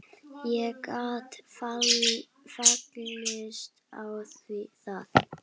Ég gat fallist á það.